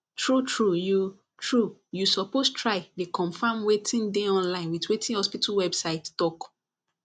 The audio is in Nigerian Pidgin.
true true you true you suppose try dey confirm wetin dey online with wetin hospital website talk